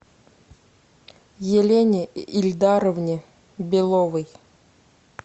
елене ильдаровне беловой